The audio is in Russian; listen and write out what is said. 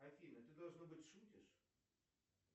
афина ты должно быть шутишь